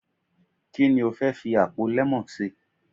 Ki ni o fẹ́ fi àpò lemon ṣe.